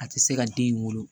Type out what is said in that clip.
A tɛ se ka den in wolo